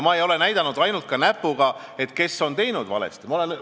Ma ei ole ka ainult näpuga näidanud, et kes on valesti teinud.